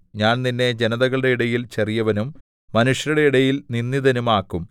ഞാൻ നിന്നെ ജനതകളുടെ ഇടയിൽ ചെറിയവനും മനുഷ്യരുടെ ഇടയിൽ നിന്ദിതനും ആക്കും